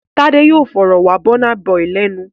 Tádé yóò fọ̀rọ̀ wá Burna Boy lẹ́nu!